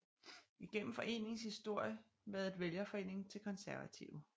Igennem foreningens historie været vælgerforening til Konservative